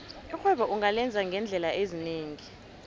irhwebo ungalenza ngeendlela ezinengi